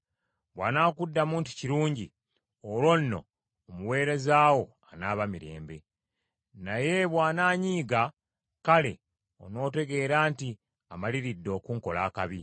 Bw’anaakuddamu nti, ‘Kirungi,’ olwo nno omuweereza wo anaaba mirembe. Naye bw’anaanyiiga, kale onootegeera nti amaliridde okunkola akabi.